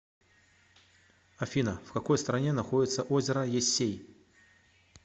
афина в какой стране находится озеро ессей